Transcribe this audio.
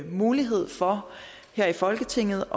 mulighed for her i folketinget